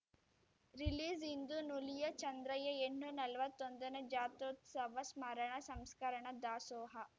ರಿಲೀಸ್‌ಇಂದು ನುಲಿಯ ಚಂದಯ್ಯ ಎಣ್ಣು ನಲ್ವತ್ತೊಂದ ನೇ ಜಾತ್ರೋತ್ಸವ ಸ್ಮರಣ ಸಂಸ್ಕರಣ ದಾಸೋಹ